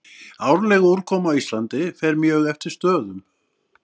Árleg úrkoma á Íslandi fer mjög eftir stöðum.